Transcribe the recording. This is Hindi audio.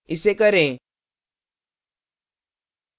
इसे करें